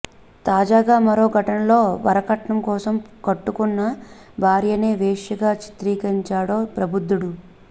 తాజాగా మరో ఘటనలో వరకట్నం కోసం కట్టుకున్న భార్యనే వేశ్యగా చిత్రీకరించాడో ప్రబుద్ధుడు